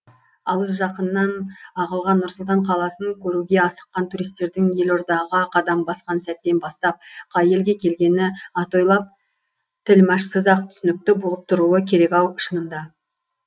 алыс жақыннан ағылған нұр сұлтан қаласын көруге асыққан туристердің елордаға қадам басқан сәттен бастап қай елге келгені атойлап тілмашсыз ақ түсінікті болып тұруы керек ау шынында